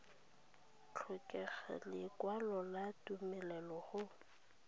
tlhokega lekwalo la tumelelo go